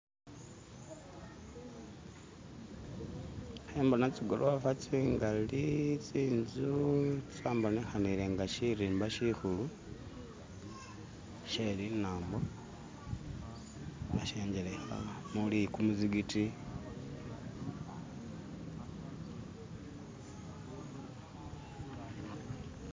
kembona tsigolofa tsingali, tsinzu, shambonekelenga shirimba shikulu sheli nambo, shajeleka nguli muzigiti